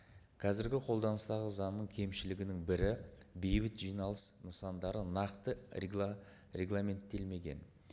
қазіргі қолданыстағы заңның кемшілігінің бірі бейбіт жиналыс нысандары нақты регламенттелмеген